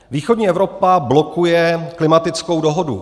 Východní Evropa blokuje klimatickou dohodu.